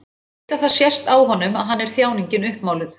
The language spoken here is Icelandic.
Veit að það sést á honum að hann er þjáningin uppmáluð.